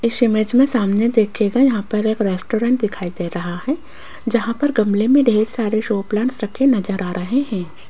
इस इमेज में सामने देखिएगा यहां पर एक रेस्टोरेंट दिखाई दे रहा है जहां पर गमले में ढेर सारे शो प्लांट्स रखे नजर आ रहे हैं।